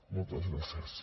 moltes gràcies